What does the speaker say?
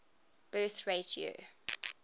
birth rate year